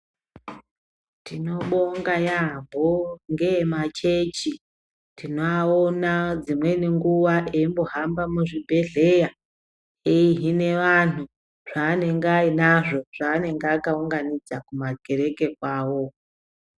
Tinobonga yambo ngeemachechi, tinoana dzimweni nguwa eimbohamba muzvibhedhlera eihine vanhu zvaanenge ainazvo zvaanenge akarongedzwa kumakereke kwawo.